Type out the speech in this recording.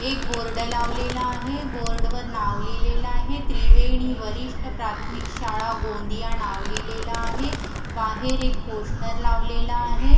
एक बोर्ड लावलेला आहे बोर्डवर नाव लिहिलेलं आहे त्रिवेणी वरिष्ठ प्राथमिक शाळा गोंदिया नाव लिहिलेलं आहे बाहेर एक पोस्टर लावलेलं आहे.